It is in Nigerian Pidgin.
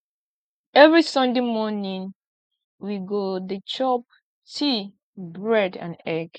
every sunday morning we go dey chop tea bread and egg